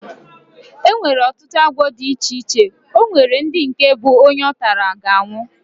Enwere ọtụtụ agwọ dị iche iche, onwere ndị nke bụ onye ọtara, ga anwụ